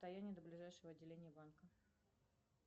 расстояние до ближайшего отделения банка